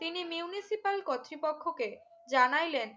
তিনি Municipal কর্তৃপক্ষকে জানাইলেন